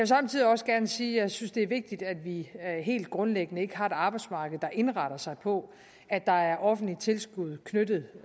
samtidig også gerne sige at jeg synes det er vigtigt at vi helt grundlæggende ikke har et arbejdsmarked der indretter sig på at der er offentligt tilskud knyttet